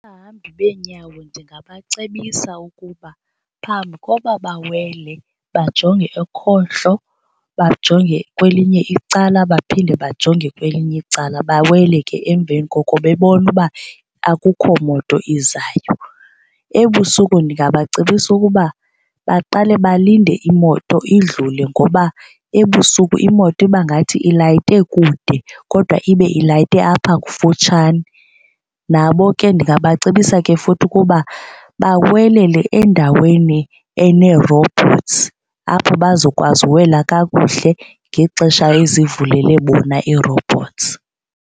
Abahambi beenyawo ndingabacebisa ukuba phambi koba bawele bajonge ekhohlo bajonge kwelinye icala baphinde bajonge kwelinye icala bawele ke emveni koko bebona uba akukho moto izayo. Ebusuku ndingabacebisa ukuba baqale balinde imoto idlule ngoba ebusuku imoto ibangathi ilayite kude kodwa ibe ilayite apha kufutshane. Nabo ke ndingabacebisa ke futhi ukuba bawelele endaweni ene-robots apho bazokwazi ukuwela kakuhle ngexesha ezivulele bona ii-robots.